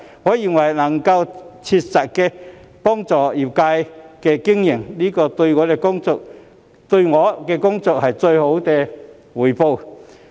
我認為，能夠切實幫助業界經營，便是對我的工作最好的回報。